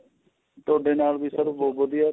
ਤੁਹਾਡੇ ਨਾਲ ਵੀ sir ਭੂਤ ਵਧੀਆ